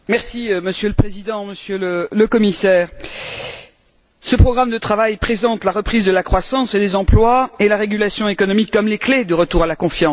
Monsieur le Président, Monsieur le Commissaire, ce programme de travail présente la reprise de la croissance et des emplois et la régulation économique comme les clés du retour à la confiance.